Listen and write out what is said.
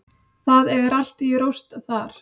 Það er allt í rúst þar.